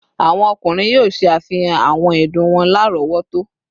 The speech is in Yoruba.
Awọn ọkunrin yoo ṣe afihan awọn ẹdun wọn larọwọto